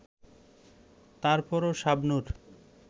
তারপরও শাবনূর